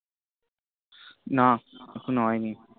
না এখন ও হয়নি